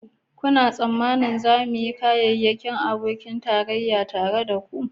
Kuna tsammanin za mu yi kyakkyawan abokin tarayya tare da ku